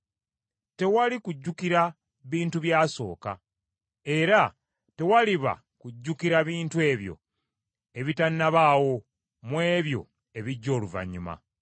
Tewali kujjukira bintu byasooka era tewaliba kujjukira bintu ebyo ebitanabaawo mu ebyo ebijja oluvannyuma.